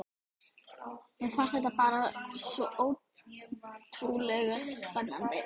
Mér fannst þetta bara svo ótrúlega spennandi.